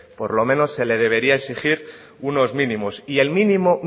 por lo menos se le debería de exigir unos mínimos y el mínimo